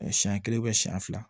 Siɲɛ kelen siyɛn fila